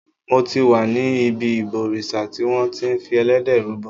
Mo ti wà ní ibi ìbòrìṣà tí wọn ti fi Ẹlẹ́dẹ̀ rúbọ.